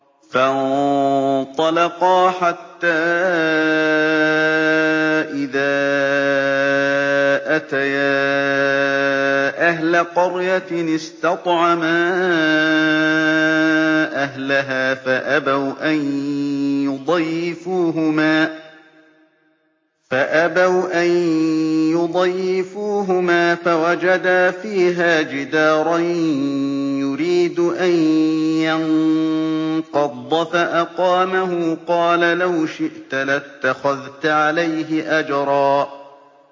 فَانطَلَقَا حَتَّىٰ إِذَا أَتَيَا أَهْلَ قَرْيَةٍ اسْتَطْعَمَا أَهْلَهَا فَأَبَوْا أَن يُضَيِّفُوهُمَا فَوَجَدَا فِيهَا جِدَارًا يُرِيدُ أَن يَنقَضَّ فَأَقَامَهُ ۖ قَالَ لَوْ شِئْتَ لَاتَّخَذْتَ عَلَيْهِ أَجْرًا